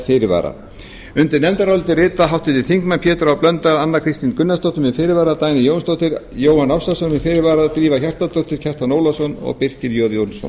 fyrirvara undir nefndarálitið rita háttvirtir þingmenn pétur h blöndal anna kristín gunnarsdóttir með fyrirvara dagný jónsdóttir jóhann ársælsson með fyrirvara drífa hjartardóttir kjartan ólafsson og birkir j jónsson